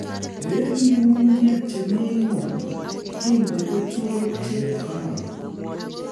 Eng nyung'unyek che mi ng'uny inde keturek che kororon